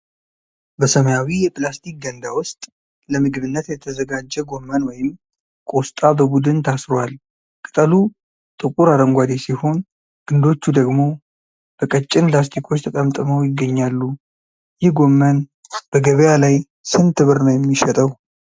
በሰማያዊ የፕላስቲክ ገንዳ ውስጥ ለምግብነት የተዘጋጀ ጎመን ወይም ቆስጣ በቡድን ታስሮአል። ቅጠሉ ጥቁር አረንጓዴ ሲሆን፣ ግንዶቹ ደግሞ በቀጭን ላስቲኮች ተጠምጥመው ይገኛሉ። ይህ ጎመን በገበያ ላይ ስንት ብር ነው የሚሸጠው?